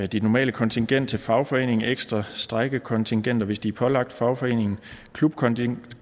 dit normale kontingent til fagforeningen ekstra strejkekontingenter hvis de er pålagt fagforeningen klubkontingenter